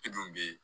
E dun bɛ yen